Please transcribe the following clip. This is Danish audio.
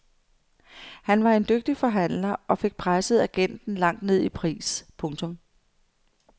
Han var en dygtig forhandler og fik presset agenten langt ned i pris. punktum